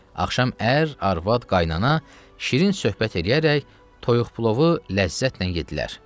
Axşam ər, arvad, qaynana şirin söhbət eləyərək toyuq plovu ləzzətlə yeddilər.